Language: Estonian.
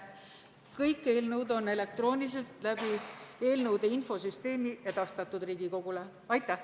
Kõik eelnõud on elektrooniliselt läbi eelnõude infosüsteemi Riigikogule edastatud.